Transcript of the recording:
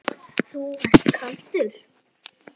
Þú ert kaldur!